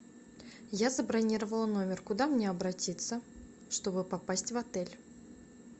я забронировала номер куда мне обратиться чтобы попасть в отель